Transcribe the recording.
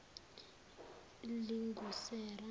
lingusera